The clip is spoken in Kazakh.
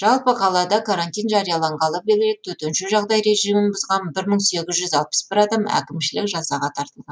жалпы қалада карантин жарияланғалы бері төтенше жағдай режимін бұзған бір мың сегіз жүз алпыс бір адам әкімшілік жазаға тартылған